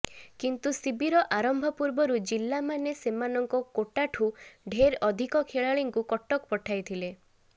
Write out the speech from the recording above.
କିନ୍ତୁ ଶିବିର ଆରମ୍ଭ ପୂର୍ବରୁ ଜିଲ୍ଲାମାନେ ସେମାନଙ୍କ କୋଟାଠୁ ଢେର ଅଧିକ ଖେଳାଳିଙ୍କୁ କଟକ ପଠାଇଥିଲେ